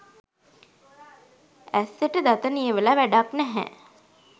ඇස්සට දත නියවල වැඩක් නැහැ.